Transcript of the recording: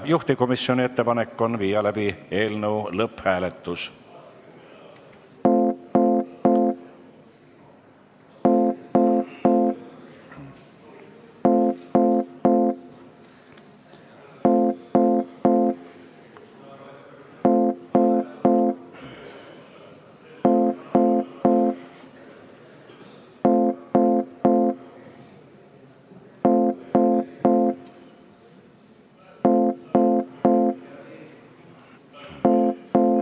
Juhtivkomisjoni ettepanek on viia läbi eelnõu lõpphääletus.